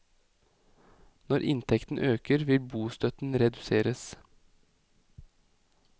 Når inntekten øker vil bostøtten reduseres.